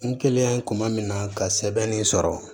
N kɛlen kuma min na ka sɛbɛn nin sɔrɔ